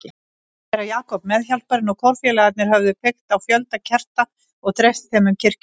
Séra Jakob, meðhjálparinn og kórfélagarnir höfðu kveikt á fjölda kerta og dreift þeim um kirkjuna.